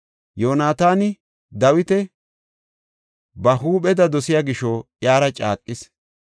Yoonataani Dawita ba huupheda dosiya gisho iyara caaqis.